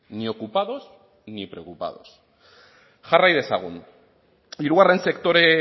ni ocupados ni preocupados jarrai dezagun hirugarren sektore